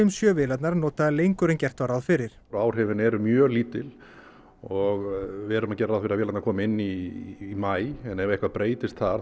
sjö vélarnar notaðar lengur en gert var ráð fyrir áhrifin eru mjög lítil og við erum að gera ráð fyrir að vélarnar komi inn í maí ef eitthvað breytist þar